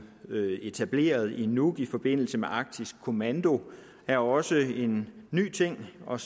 etableret i nuuk i forbindelse med arktisk kommando er også en ny ting og